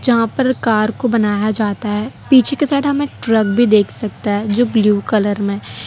जहां पर कार को बनाया जाता है पीछे के साइड में हम एक ट्रक भी देख सकता है जो ब्ल्यू कलर में--